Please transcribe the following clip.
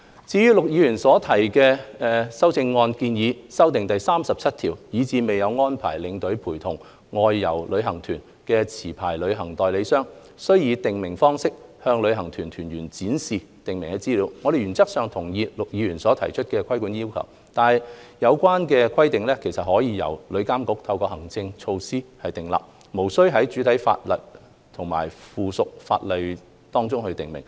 至於陸議員修正案建議修訂《條例草案》第37條，以使未有安排領隊陪同外遊旅行團的持牌旅行代理商，須以訂明方式向旅行團團員展示訂明資料，我們原則上同意陸議員提議的規管要求，但有關規定可由旅監局透過行政措施訂立，無須在主體法例及附屬法例中訂明。